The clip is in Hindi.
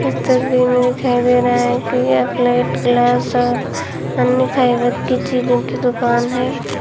इस तस्वीर में दिखाई दे रहा है कि यह प्लेट ग्लास और अन्य फाइबर की चीजों की दुकान है।